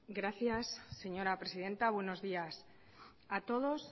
gracias señora presidenta buenos días a todos